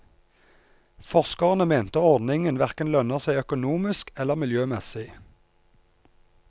Forskerne mente ordningen hverken lønner seg økonomisk eller miljømessig.